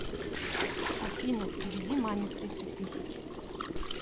афина переведи маме тридцать тысяч